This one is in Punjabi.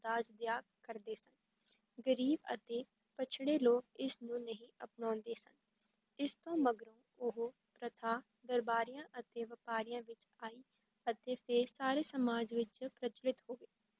ਦਾਜ ਦਿਆ ਕਰਦੇ ਸਨ, ਗ਼ਰੀਬ ਅਤੇ ਪਿੱਛੜੇ ਲੋਕ ਇਸ ਨੂੰ ਨਹੀਂ ਅਪਣਾਉਂਦੇ ਸਨ, ਇਸ ਤੋਂ ਮਗਰੋਂ ਉਹ ਪ੍ਰਥਾ ਦਰਬਾਰੀਆਂ ਅਤੇ ਵਪਾਰੀਆਂ ਵਿੱਚ ਆਈ ਅਤੇ ਫਿਰ ਸਾਰੇ ਸਮਾਜ ਵਿੱਚ ਪ੍ਰਚਲਿਤ ਹੋ ਗਈ।